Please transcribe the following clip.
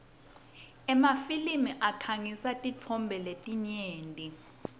emafilimi akhangisa tintfo letinyenti